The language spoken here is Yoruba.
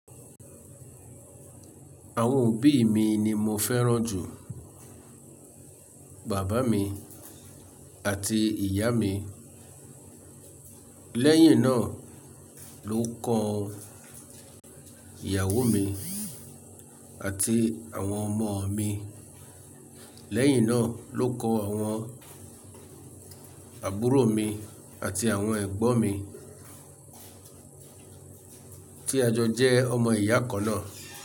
Àwọn òbí mi ni mo fẹ́ràn jù, bàbá mi àti ìyá mi, lẹ́yìn náà lókan ìyàwó mi àti àwọn ọmọ mi, lẹ́yìn náà lóko àwọn àbúrò mi àti àwọn ẹ̀gbọ́n mi tí a jọ jẹ́ ọmọ ìyá kan náà.